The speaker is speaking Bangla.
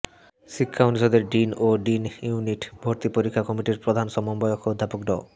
শিক্ষা অনুষদের ডিন ও ডি ইউনিট ভর্তি পরীক্ষা কমিটির প্রধান সমন্বয়ক অধ্যাপক ড